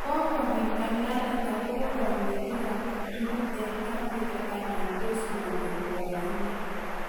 Kikobit ng'alalet akobo konetikab kiptulit eng Afrika anan tos manyoru baroindo